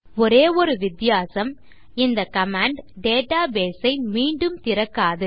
ஒரே ஒரு வித்தியாசம் இந்த கமாண்ட் டேட்டாபேஸ் ஐ மீண்டும் திறக்காது